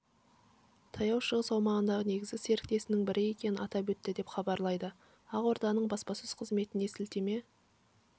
таяу шығыс аумағындағы негізгі серіктесінің бірі екенін атап өтті деп хабарлайды ақорданың баспасөз қызметіне сілтеме